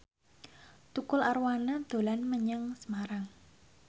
Tukul Arwana dolan menyang Semarang